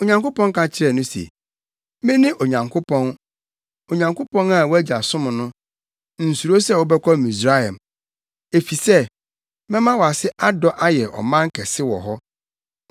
Onyankopɔn ka kyerɛɛ no se, “Mene Onyankopɔn. Onyankopɔn a wʼagya som no. Nsuro sɛ wobɛkɔ Misraim, efisɛ mɛma wʼase adɔ ayɛ ɔman kɛse wɔ hɔ.